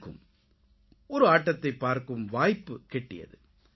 எனக்கும் ஒரு ஆட்டத்தைப் பார்க்கும் வாய்ப்புக் கிட்டியது